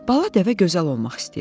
Bala dəvə gözəl olmaq istəyirdi.